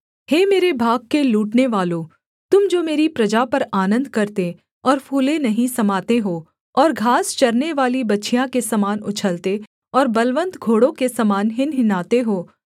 हे मेरे भाग के लूटनेवालों तुम जो मेरी प्रजा पर आनन्द करते और फुले नहीं समाते हो और घास चरनेवाली बछिया के समान उछलते और बलवन्त घोड़ों के समान हिनहिनाते हो